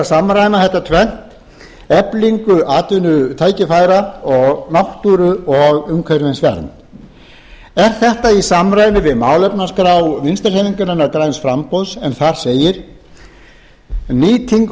samræma þetta tvennt eflingu atvinnutækifæra og náttúru og umhverfisvernd er þetta í samræmi við málefnaskrá vinstri hreyfingarinnar en þar segir nýting